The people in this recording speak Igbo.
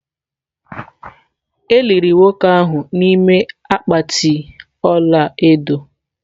E liri nwoke ahụ n’ime akpatị ọla edo.